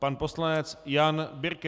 Pan poslanec Jan Birke.